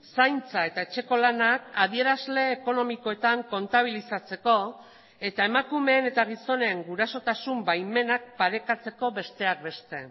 zaintza eta etxeko lanak adierazle ekonomikoetan kontabilizatzeko eta emakumeen eta gizonen gurasotasun baimenak parekatzeko besteak beste